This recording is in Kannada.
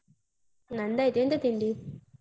ನಂದಾಯ್ತಾ. ಎಂತ ತಿಂಡಿ?